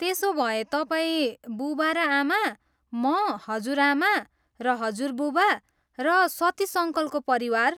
त्यसो भए तपाईँ, बुबा र आमा, म, हजुरआमा र हजुरबुबा, र सतीश अङ्कलको परिवार।